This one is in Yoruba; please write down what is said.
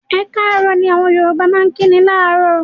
"Ẹ káàárọ̀" ni àwọn Yorùbá máa ń kíni láàárọ̀.